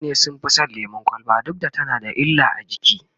mutane sun Fi San lemun kwalba duk da tana da illa a jiki